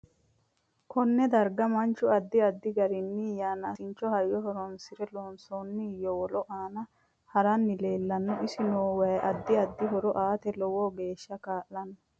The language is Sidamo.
Konne darga manchu addi addi garinni yanaasincho hayyo horoonisine loonsooni yowollo aana haranni leelanno isi noo wayi addi addi horo aate lowo geesha kaa'lanno